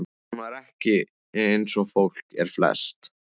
Hún var ekki eins og fólk er flest.